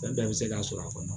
Fɛn bɛɛ bɛ se ka sɔrɔ a kɔnɔ